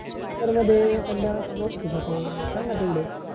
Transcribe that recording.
पर्वा ते त्यांना श्लोक दिला होता सांगा तेवड